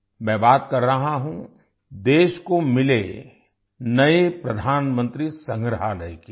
मैं बात कर रहा हूँ देश को मिले नए प्रधानमंत्री संग्रहालय की